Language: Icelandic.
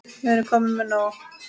Við erum komin með nóg.